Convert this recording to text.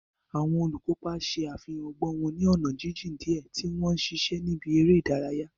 Àwọn olùkópa ṣe àfihàn ọgbọ́n wọn ní ọ̀nà jíjìn díẹ̀ tí wọ́n ń ṣiṣẹ́ ní ibi eré ìdárayá.